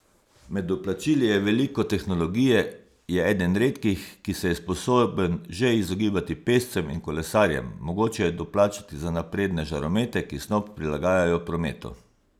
Med doplačili je veliko tehnologije, je eden redkih, ki se je sposoben že izogibati pešcem in kolesarjem, mogoče je doplačati za napredne žaromete, ki snop prilagajajo prometu.